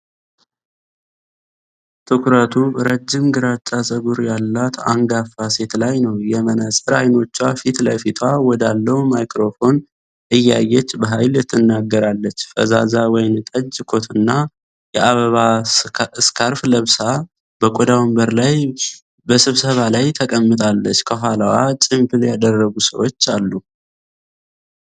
ትኩረቱ ረጅም ግራጫ ፀጉር ያላት አንጋፋ ሴት ላይ ነው፣ የመነፅር አይኖቿ ፊት ለፊቷ ወዳለው ማይክሮፎን እያየች በኃይል ትናገራለች። ፈዛዛ ወይንጠጅ ኮትና የአበባ ስካርፍ ለብሳ፣ በቆዳ ወንበር ላይ በስብሰባ ላይ ተቀምጣለች። ከኋላዋ ጭምብል ያደረጉ ሰዎች አሉ።